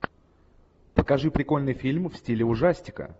покажи прикольный фильм в стиле ужастика